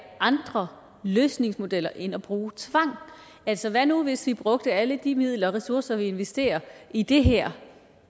andre løsningsmodeller end at bruge tvang altså hvad nu hvis vi brugte alle de midler og ressourcer vi investerer i det her